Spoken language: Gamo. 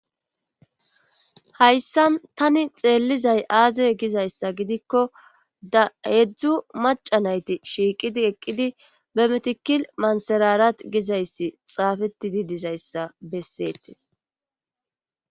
Hayssan tani xeellizay aaze gizayssa gidikko da heedzdzu maca nayti shiiqidi eqqidi be metikil manserarat gizayssi xaafetidi dizayssa bessettes.